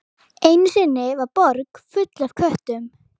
Einu sinni var borg full af köttum.